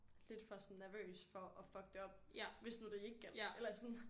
Lidt for sådan nervøs for at fucke det op hvis nu det ikke galdt